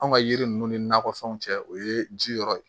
Anw ka yiri ninnu ni nakɔfɛnw cɛ o ye ji yɔrɔ ye